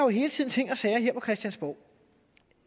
hele tiden ting og sager her på christiansborg